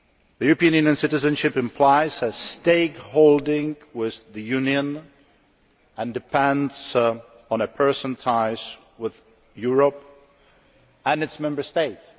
European Union citizenship implies a stakeholding with the union and depends on a person's ties with Europe and its Member States.